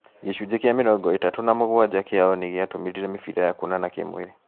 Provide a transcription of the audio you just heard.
Gĩcunjĩ kĩa mĩrongo ĩtatũ na mũgwanja kĩao nĩgĩatũmĩrire mĩbĩra ya kuonana kĩ-mwĩrĩ